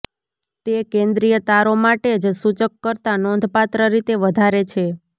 તે કેન્દ્રીય તારો માટે જ સૂચક કરતાં નોંધપાત્ર રીતે વધારે છે